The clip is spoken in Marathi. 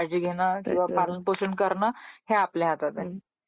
त्याची काळजी घेण , त्याच पालन पोषण करण हे आपल्या हातात आहे